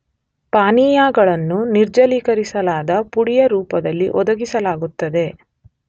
ಪಾನೀಯಗಳನ್ನು ನಿರ್ಜಲೀಕರಿಸಲಾದ ಪುಡಿಯ ರೂಪದಲ್ಲಿ ಒದಗಿಸಲಾಗುತ್ತದೆ.